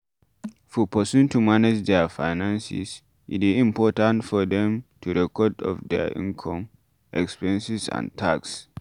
For person to manage their finances e dey important for them to keep record of their inome, expenses and tax